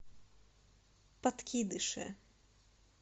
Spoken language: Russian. подкидыши